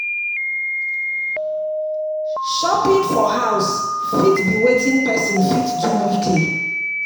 Shopping for house fit be wetin person fit do weekly